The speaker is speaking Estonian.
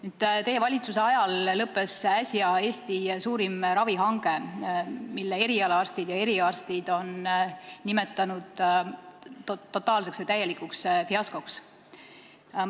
Äsja, teie valitsuse ajal, lõppes Eesti suurim ravihange, mida eriarstid on nimetanud totaalseks või täielikuks fiaskoks.